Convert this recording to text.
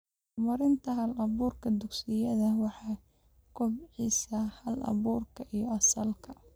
Horumarinta hal-abuurka dugsiyada waxay kobcisaa hal-abuurka iyo asalka.